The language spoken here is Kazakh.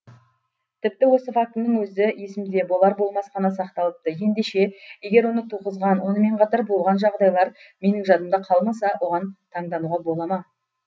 тіпті осы фактінің өзі есімде болар болмас қана сақталыпты ендеше егер оны туғызған онымен қатар болған жағдайлар менің жадымда қалмаса оған таңдануға бола ма